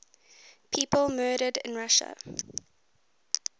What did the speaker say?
people murdered in russia